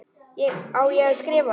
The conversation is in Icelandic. Á ég að skrifa það?